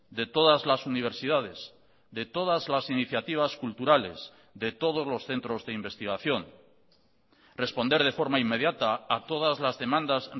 de todas las universidades de todas las iniciativas culturales de todos los centros de investigación responder de forma inmediata a todas las demandas